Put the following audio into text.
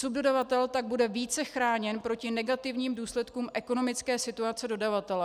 Subdodavatel tak bude více chráněn proti negativním důsledkům ekonomické situace dodavatele.